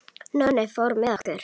Nonni fór með okkur.